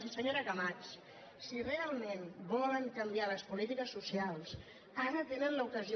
i senyora camats si realment volen canviar les polítiques socials ara en tenen l’ocasió